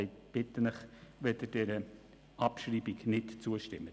Ich bitte Sie, dieser Abschreibung nicht zuzustimmen.